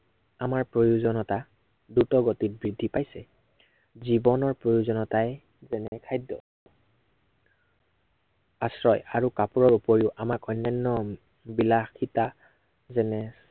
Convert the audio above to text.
আমাৰ প্ৰয়োজনীয়তা দ্ৰুতগতিত বৃদ্ধি পাইছে। জীৱনৰ প্ৰয়োজনীয়তাই, যেনে খাদ্য় আশ্ৰয় আৰু কাপোৰৰ উপৰিও আমাক অন্য়ান্য় বিলাসীতা, যেনে